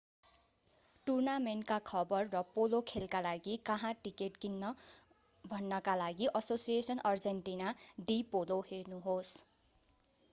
टूर्नामेन्टका खबर र पोलो खेलका लागि कहाँ टिकट किन्न भन्नका लागि asociacion argentina de polo हेर्नुहोस्‌।